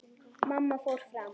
Mamma fór fram.